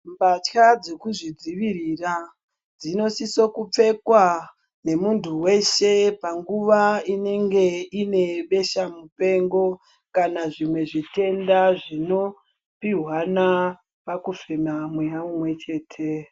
Mbatya dzekuzvidzivirira dzinosisa kupfekwa nemuntu weshe panguva inenge ine besha mupengo. kana zvimwe zvitenda zvinopihwana pakufema mweya umwe chete.